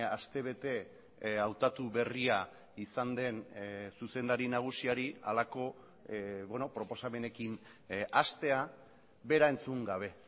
aste bete hautatu berria izan den zuzendari nagusiari halako proposamenekin hastea bera entzun gabe